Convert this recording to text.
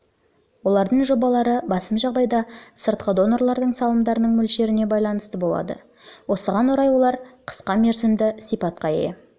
олардың жобалары басым жағдайда сыртқы донорлардың салымдарының мөлшеріне байланысты болады осыған орай олар қысқа мерзімді сипатқа ие